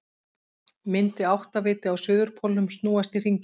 Myndi áttaviti á suðurpólnum snúast í hringi?